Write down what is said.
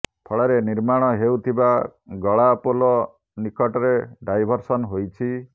ଫଳରେ ନିର୍ମାଣ ହେଉଥିବା ଗଳା ପୋଲ ନିକଟରେ ଡାଇଭରସନ ହୋଇଛି